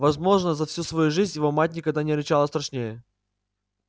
возможно за всю свою жизнь его мать никогда не рычала страшнее